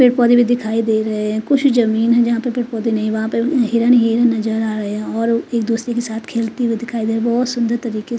पेड़ पौधे भी दिखाई दे रहे हैं कुछ जमींन हैं जहाँ पे पेड़ पौधे नही हैं वहां पे हिरन ही हिरन नजर आ रहे हैं और एक दुसरे के साथ खेलते हुए दिखाई दे रहे हैं बहुत सुंदर तरीके --